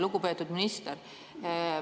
Lugupeetud minister!